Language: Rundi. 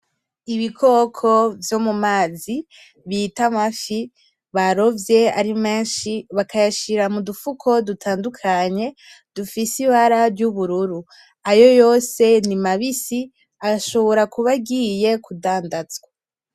Ibikoko vyo mu mazi bita amafi , barovye ari menshi bakayashira mudufuko dutandukanye dufise ibara ry'ubururu, ayo yose ni mabisi ashobora kuba agiye kudandanzwa.